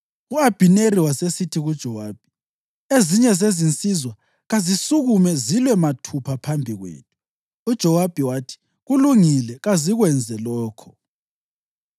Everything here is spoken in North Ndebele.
U-Abhineri wasesithi kuJowabi, “Ezinye zezinsizwa kazisukume zilwe mathupha phambi kwethu.” UJowabi wathi, “Kulungile, kazikwenze lokho.”